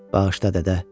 Bağışla, dədə.